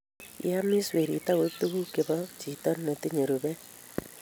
kiamis werit akoib tugul che bo chito be tinye rupet